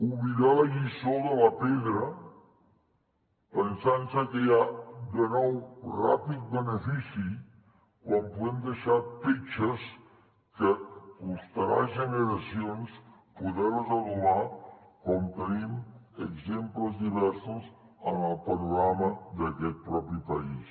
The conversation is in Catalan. oblidar la lliçó de la pedra pensant se que hi ha de nou ràpid benefici quan podem deixar petges que costarà generacions poder les adobar com tenim exemples diversos en el panorama d’aquest mateix país